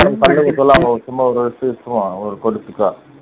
சொல்லாம சும்மா ஒரு இதா எடுத்துட்டு வா